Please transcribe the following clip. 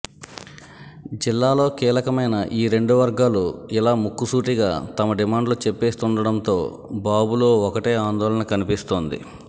జిల్లాలో కీలకమైన ఈ రెండు వర్గాలు ఇలా ముక్కుసూటిగా తమ డిమాండ్లు చెప్పేస్తుండడంతో బాబులో ఒకటే ఆందోళన కనిపిస్తోంది